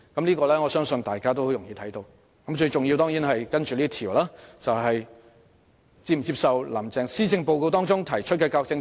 接下來的問題是最重要的問題，即是否接受"林鄭"在施政報告中提出的教育政策。